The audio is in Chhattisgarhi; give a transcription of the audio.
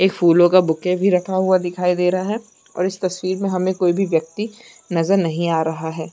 एक फूलो का बुके भी रखा हुआ दिखाई दे रहा है और उस तस्वीर में हमें कोई भी व्यक्ति नज़र नहीं आ रहा है।